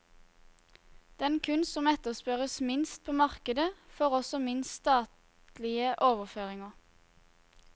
Den kunst som etterspørres minst på markedet, får også minst statlige overføringer.